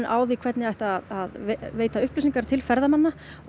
á því hvernig ætti að veita upplsyingar til ferðamanna og